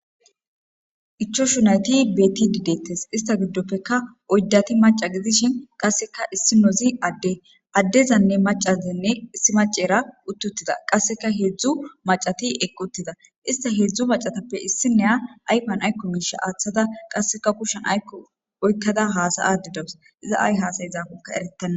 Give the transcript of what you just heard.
ichoshu nayti betidi deettes ista giddoppeka oydati maca gidishin qasseka issi nozi adde addezanne macazanne issi macera uttuttida qasseka heedzdzu macati equtida ista heedzdzu macatappe issineya ayfan aykko miisha aaththada qasseka kushshen aykko oykkada haasayadidawus iza ay haasay zaafonka erettanna